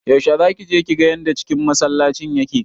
Yaushe zaki je kiga yanda cikin masallacin yake?